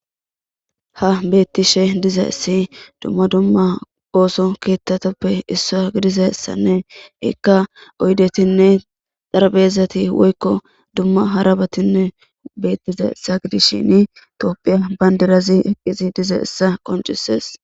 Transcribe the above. ha beettishe diza essi dumma dumma ooso keettatoppe issaa gidizassanne ikka oydetinne darbezati woykko dumma harabatinne beettiza issa gidishin toophiya bayndirazi eqqisi dize issa qoncisees